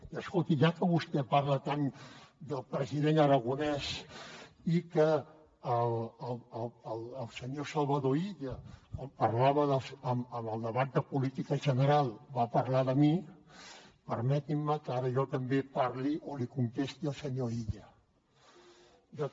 i escolti ja que vostè parla tant del president aragonès i que el senyor salvador illa en el debat de política general va parlar de mi permetin me que ara jo també parli o li contesti al senyor illa